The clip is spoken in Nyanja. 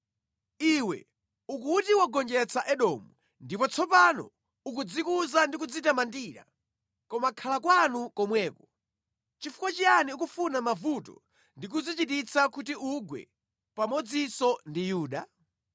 Iwe ukuti wagonjetsa Edomu, ndipo tsopano ukudzikuza ndi kudzitamandira, koma khala kwanu komweko! Nʼchifukwa chiyani ukufuna mavuto ndi kudzichititsa kuti ugwe pamodzinso ndi Yuda?”